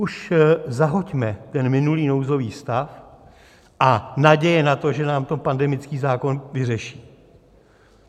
Už zahoďme ten minulý nouzový stav a naděje na to, že nám to pandemický zákon vyřeší.